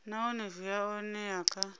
nahone zwi a oea kha